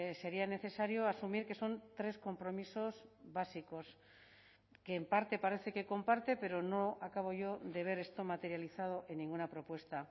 sería necesario asumir que son tres compromisos básicos que en parte parece que comparte pero no acabo yo de ver esto materializado en ninguna propuesta